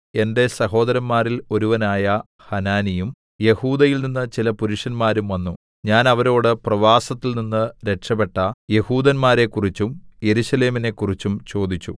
എന്റെ സഹോദരന്മാരിൽ ഒരുവനായ ഹനാനിയും യെഹൂദയിൽനിന്ന് ചില പുരുഷന്മാരും വന്നു ഞാൻ അവരോട് പ്രവാസത്തിൽനിന്ന് രക്ഷപെട്ട യെഹൂദന്മാരെക്കുറിച്ചും യെരൂശലേമിനെക്കുറിച്ചും ചോദിച്ചു